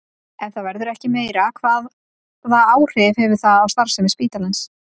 Ef það verður ekki meira, hvaða áhrif hefur það á starfsemi spítalans?